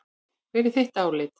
Hvert er þitt álit?